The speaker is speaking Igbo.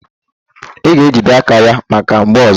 Ị ga-ejide aka ya maka mgbọ ọzọ!